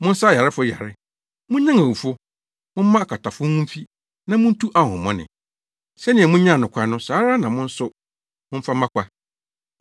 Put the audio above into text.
Monsa ayarefo yare, munnyan awufo, momma akwatafo ho mfi, na muntu ahonhommɔne. Sɛnea munyaa no kwa no, saa ara na mo nso na momfa mma kwa.